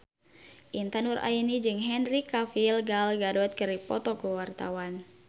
Intan Nuraini jeung Henry Cavill Gal Gadot keur dipoto ku wartawan